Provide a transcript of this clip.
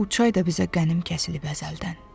Bu çay da bizə qənim kəsilib əzəldən.